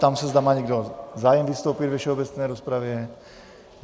Ptám se, zda má někdo zájem vystoupit ve všeobecné rozpravě?